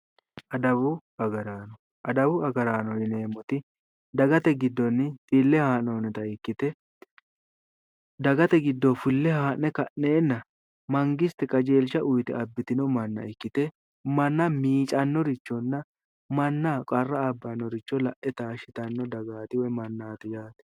Adawu agaraano, adawu agaraano yineemoti dagatte gidoonni fille haa'nonnitta ikkite dagate gidoyi fille haa'ne ka'neenna mangiste qajeelisha uyiite abbitinno manna ikkite manna miicanoricho, mannaho qarra abbanoricho la'e taashitanno dagaati woy manaati.